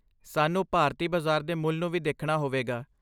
ਸਾਨੂੰ ਭਾਰਤੀ ਬਾਜ਼ਾਰ ਦੇ ਮੁੱਲ ਨੂੰ ਵੀ ਦੇਖਣਾ ਹੋਵੇਗਾ।